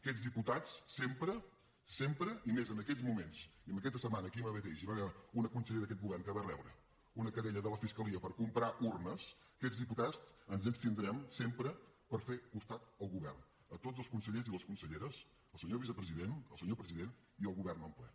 aquests diputats sempre sempre i més en aquests moments i en aquesta setmana aquí mateix hi va haver una consellera d’aquest govern que va rebre una querella de la fiscalia per comprar urnes aquests diputats ens abstindrem sempre per fer costat al govern a tots els consellers i les conselleres el senyor vicepresident el senyor president i el govern en ple